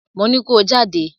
Mo ní ko jáde!